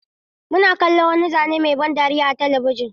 Muna kallon wani zane mai ban dariya a talabijin.